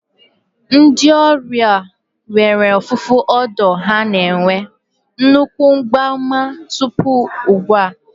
Ndị ọrịa nwere ọfụfụ odo ha na-enwe nnukwu mgbaàmà tupu ugbu a?